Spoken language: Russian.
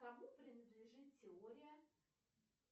кому принадлежит теория